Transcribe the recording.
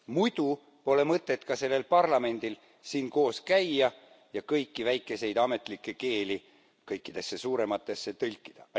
Muidu pole mõtet ka sellel parlamendil siin koos käia ja kõiki väikeseid ametlikke keeli kõikidesse suurematesse tõlkida.